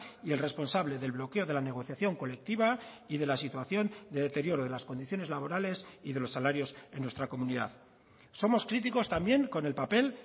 y el responsable del bloqueo de la negociación colectiva y de la situación de deterioro de las condiciones laborales y de los salarios en nuestra comunidad somos críticos también con el papel